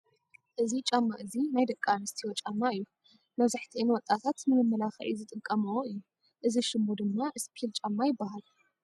እዚ ጫማ እዚ ናይ ደቂ ኣነስትዮ ጫማ እዩ። መብዛሕት ወጣታት ንመመላኪዒ ዝጥቀመ እዩ። እዚ ሽሙ ድማ እስፒል ጫማ ይባሃል ።